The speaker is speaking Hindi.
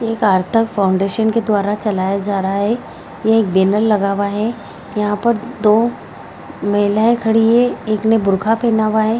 एक अर्थक फाउंडेशन के द्वारा चलाया जा रहा है ये एक बैनर लगा हुआ है यहाँ पर दो महिलाएं खड़ी हैं एक ने बुर्खा पहना हुआ है।